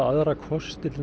þá kosti